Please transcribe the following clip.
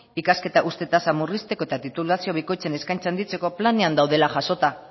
ikasketa uzte tasa murrizteko eta titulazio bikoitzen eskaintza handitzeko planean daudela jasota